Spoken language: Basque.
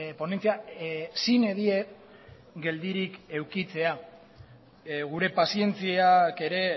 ponentzia sine die geldirik edukitzea gure pazientziak ere